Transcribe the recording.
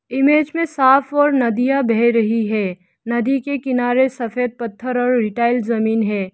Image में साफ और नदियां बह रही है नदी के किनारे सफेद पत्थर और रिटाइल जमीन है।